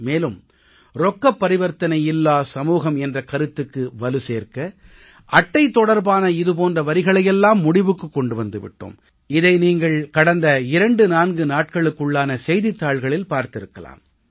மேலும் ரொக்கப் பரிவர்த்தனை இல்லாத சமூகம் என்ற கருத்துக்கு வலு சேர்க்க அட்டை தொடர்பான இது போன்ற வரிகளையெல்லாம் முடிவுக்குக் கொண்டு வந்து விட்டோம் இதை நீங்கள் கடந்த 24 நாட்களுக்குள்ளான செய்தித்தாள்களில் பார்த்திருக்கலாம்